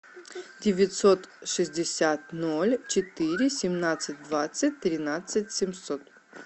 девятьсот шестьдесят ноль четыре семнадцать двадцать тринадцать семьсот